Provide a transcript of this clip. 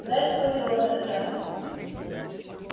зайцу повезло на этот раз